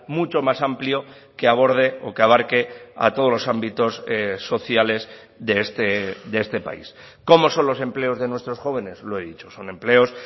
mucho más amplio que aborde o que abarque a todos los ámbitos sociales de este país cómo son los empleos de nuestros jóvenes lo he dicho son empleos